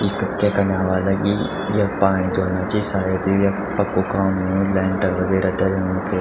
इख क्य कना ह्वाला कि यख पाणी धुलना छी सायद य यख पक्कू काम हूणू लैंटर वगेरा डलनु।